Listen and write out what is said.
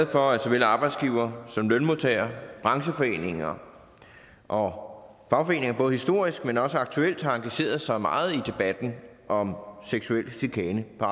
for at såvel arbejdsgivere som lønmodtagere brancheforeninger og fagforeninger både historisk men også aktuelt har engageret sig meget i debatten om seksuel chikane på